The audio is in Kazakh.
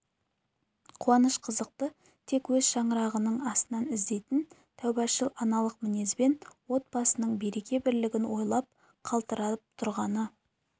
қуаныш-қызықты тек өз шаңырағының астынан іздейтін тәубашыл аналық мінезбен от басының береке-бірлігін ойлап қалтырап тұрғаны